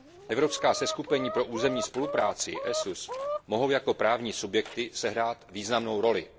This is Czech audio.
Evropská seskupení pro územní spolupráci mohou jako právní subjekty sehrát významnou roli.